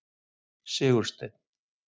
Sigursteinn